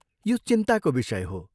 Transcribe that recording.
यो चिन्ताको विषय हो।